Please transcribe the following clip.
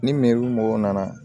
Ni mɔgɔw nana